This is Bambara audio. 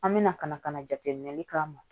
An bɛna ka na ka na jateminɛli k'a ma